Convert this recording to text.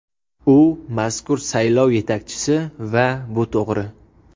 U mazkur saylov yetakchisi va bu to‘g‘ri.